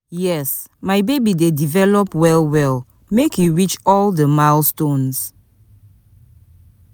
yes, my baby dey develop well well make e reach all di milestones.